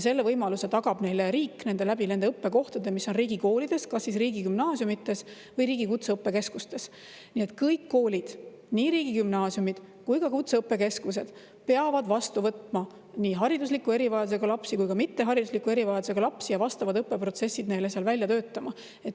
Selle võimaluse tagab neile riik nende õppekohtadega, mis on riigikoolides, kas riigigümnaasiumides või riigi kutseõppekeskustes, nii et kõik koolid, nii riigigümnaasiumid kui ka kutseõppekeskused, peavad vastu võtma nii haridusliku erivajadusega lapsi kui ka mitte haridusliku erivajadusega lapsi ja vastavad õppeprotsessid neile seal välja töötama.